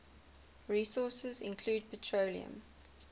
resources include petroleum